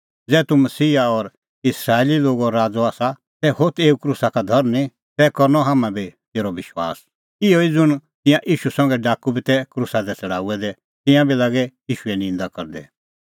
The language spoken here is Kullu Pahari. ज़ै तूह मसीहा और इस्राएली लोगो राज़अ आसा तै होथ एऊ क्रूसा का धरनीं तै करनअ हाम्हां बी तेरअ विश्वास इहअ ई ज़ुंण तिंयां ईशू संघै डाकू बी तै क्रूसा दी छ़ड़ाऊऐ दै तिंयां बी लागै ईशूए निंदा करदै